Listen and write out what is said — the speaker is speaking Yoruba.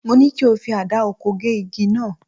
Mo ní kí o fi àdá oko gé igi náà